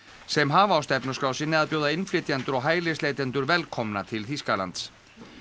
sem hafa á stefnuskrá sinni að bjóða innflytjendur og hælisleitendur velkomna til Þýskalands